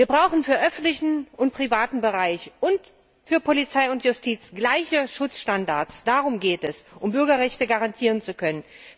Wir brauchen für den öffentlichen und den privaten Bereich und für Polizei und Justiz gleiche Schutzstandards, um Bürgerrechte garantieren zu können.